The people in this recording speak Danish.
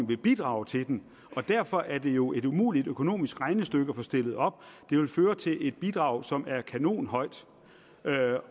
vil bidrage til den derfor er det jo et umuligt økonomisk regnestykke at få stillet op det vil føre til et bidrag som er kanonhøjt